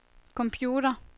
computer